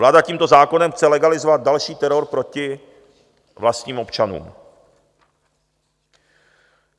Vláda tímto zákonem chce legalizovat další teror proti vlastním občanům.